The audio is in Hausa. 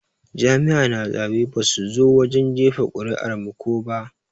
Jami'a na zaɓe basu zo wajen jefa kuri'ar mu ko ba.